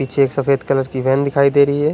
पीछे एक सफेद कलर की वैन दिखाई दे रही है।